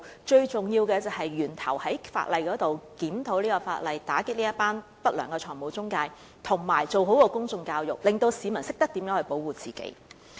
最重要的是在源頭檢討法例，打擊不良的財務中介，以及做好公眾教育，令市民懂得保護自己。